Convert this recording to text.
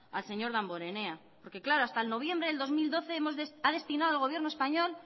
al señor damborenea porque claro hasta noviembre del dos mil doce ha destinado el gobierno español